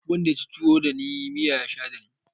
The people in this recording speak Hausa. Duk wanda yaci tuwo dani miya ya sha dani